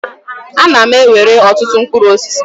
A na m ewere ọtụtụ mkpụrụ osisi.